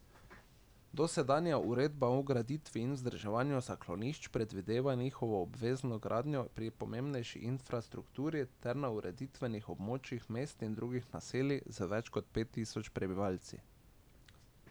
Dosedanja uredba o graditvi in vzdrževanju zaklonišč predvideva njihovo obvezno gradnjo pri pomembnejši infrastrukturi ter na ureditvenih območjih mest in drugih naselij z več kot pet tisoč prebivalci.